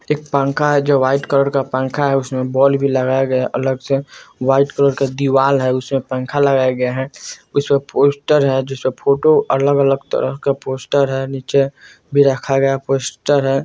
एक पंखा है जो व्हाइट कलर का पंखा है उसमें बॉल भी लगाया गया है अलग से व्हाइट कलर की दीवार है उसमें पंखा लगाया गया है उसपे पोस्टर है जिसपे फोटो है अलग-अलग तरह का पोस्टर है नीचे भी रखा गया पोस्टर है।